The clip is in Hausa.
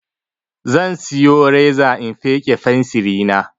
Zan siyo reza in feƙe fensiri na